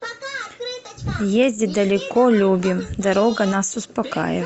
ездить далеко любим дорога нас успокаивает